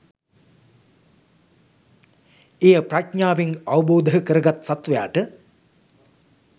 එය ප්‍රඥාවෙන් අවබෝධකරගත් සත්වයාට